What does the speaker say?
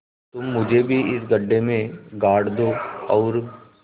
तुम मुझे भी इस गड्ढे में गाड़ दो और